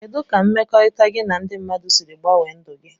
Kedụ ka mmekọrita gi na ndi mmadụ siri gbanwe ndụ gi.